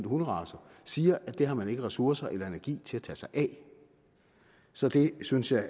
hunderacer siger at det har man ikke ressourcer eller energi til at tage sig af så det synes jeg